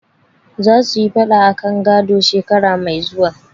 Za su yi faɗa akan gado, shekara mai zuwa.